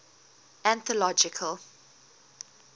anthological